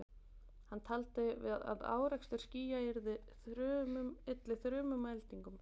Hann taldi að árekstur skýja ylli þrumum og eldingum.